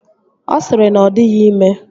Ọ sịrị na ọ dịghị ime